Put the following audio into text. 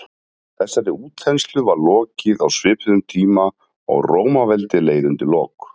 þessari útþenslu var lokið á svipuðum tíma og rómaveldi leið undir lok